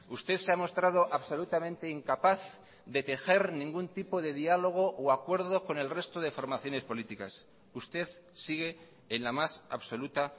usted se ha mostrado absolutamente incapaz de tejer ningún tipo de diálogo o acuerdo con el resto de formaciones políticas usted sigue en la más absoluta